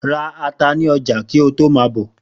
Ra ata ni ọjà kí ó to ma bọ̀.